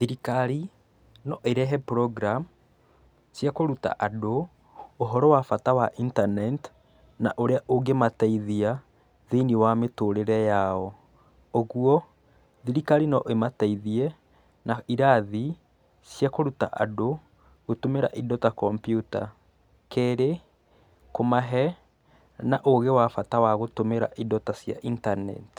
Thirikari no ĩrehe program cia kũruta andũ ũhoro wa bata wa internet ũrĩa ũngĩmateithia thĩiniĩ wa mĩtũrĩre yao, ũgũo thirikari no ĩmateithie na irathi cia kũrũta andũ gũtũmĩra indo ta kompiuta, kerĩ, kũmahe na ũgĩ wa bata wa gũtũmĩra indo ta cia internet.